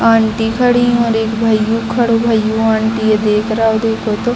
Aunty खड़ी है और एक भाईयों खड़ो भाईयों आंटी देख रहा है देखो तो।